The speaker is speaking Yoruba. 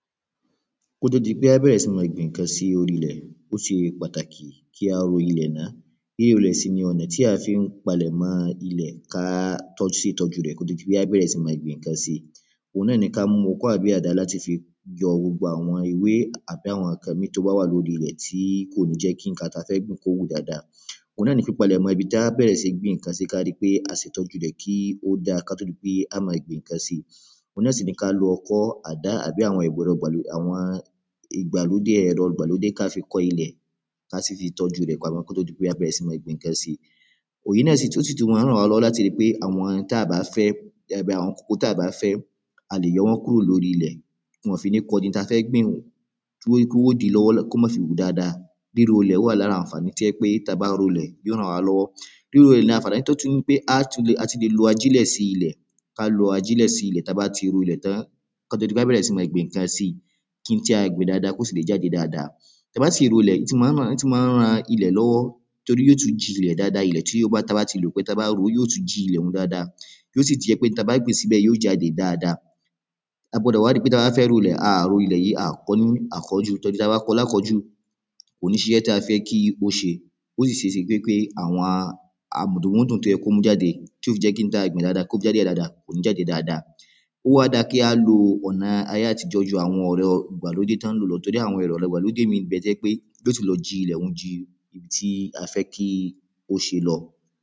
kó tó di pé a bẹ̀rẹ̀ sí ní gbin ǹkan sí orí ilẹ̀, ó ṣe pàtàkì kí ro orí ilẹ̀ náà. Rírolẹ̀ sì ni ọ̀nà tí a fi ń palẹ̀mọ́ ilẹ̀ ká tó ṣe ìtọ́ju rẹ̀ kó tó di pé a bẹ̀rẹ̀ sí ní máa gbin ǹkan síi. Òhun náa ni ká mú ọkọ́ tàbí àdá láti yọ gbogbo àwọn ewé tàbí àwọn ǹkan míì tó bá wà lóri ilẹ̀ tí kò ní jẹ́ kí ǹkan tí a fẹ́ gbìn kó wù dáadáa Òhun náa ni pípalẹ̀mọ ibi tí á bẹ̀rẹ̀ sí ní gbin ǹkan sí ká ríi pé a ṣè ìtọ́jú rẹ̀ kó dáa kó tó di pé á máa bẹ̀rẹ̀ sí ní máa gbin ǹkan síi. Òhun náà ni, ká lo ọkọ́, àdá tàbí àwọn ẹ̀rọ ìgbàlódé ká fi kọ ilẹ̀ ká sì fi tọ́ju ilẹ̀ kó tó di pé a bẹ̀rè sí ní gbín ǹkan síi. Èyí náà sí tùn ma ń ràn wá lọ́wọ́, láti ríi pé àwọn tí a bá fé, gẹ́gẹ́ bí àwọn koríko tí a ò bá fẹ́, a lè yọ wọ́n kúrò lóri ilẹ̀ tí wọn ò fi ní kọdí ohun tí a fẹ́ gbìn wọ̀; tí ó di pé wọn ò díi lọ́wọ́ kí ó ma ṣe wù dáadáa. Ríro irú ilẹ̀ wa lára àǹfàní tó jẹ́ wí pé tí a bá ro ilẹ̀, yóò ràn wá lọ́wọ́. Bí irú ilẹ̀ tó tún ni pé, a tún lè lo ajílẹ̀ sí ilẹ̀, ká lo ajílẹ̀ sí ilẹ̀ ta bá ti ro ilẹ̀ tán, kó tó di pé a bẹ̀rẹ̀ sí ní gbin ǹkan síi kíhun tí a gbìn kó sì lè jáde dáadáa. Ta bá sì ro ilẹ̀ ó tún ma ràn ilẹ̀ lọ́wọ́ torí yóò tún ji ilẹ̀ dáadáa, ilẹ̀ tí a bá ti lò pẹ́ tá ba ro ó yóò tún jilè dáadáa. Yóò sì jẹ́ wí pé ohun tí a bá gbìn síbẹ̀ yóò jáde dáadáa. A gbọ́dọ̀ wádì pé ta bá fẹ́ ro ilẹ̀, a à ro ilẹ̀ yìí, a à kọ ọ́ lákọ̀ọ́jù, torí ta bá kọ ọ́ lákòọ́jù kò ní ṣiṣẹ́ ta fẹ́ kí ó ṣẹ. Ó sì ṣe é ṣe wí pé àwọn mùdùnmúdùn tó yẹ kó mú jáde, tó fi jẹ́ kí ohun tá a gbìn kó mú jáde dáadáa. Ó wá dáa kí á lo ọ̀nà ayé àtijọ́ ju àwọn ẹ̀rọ ìgbàlódé tọ́ ń lò lọ torí àwon ẹ̀rọ ìgbàlódé míì ń bẹ́ tó jé pé yóò tún lọ jí ilẹ̀ ọ̀hún ju ohun tí a fẹ́ kó ṣe lọ.